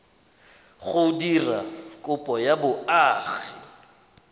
go dira kopo ya boagi